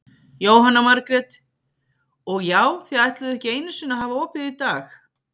Jóhanna Margrét: Og já, þið ætluðuð ekki einu sinni að hafa opið í dag?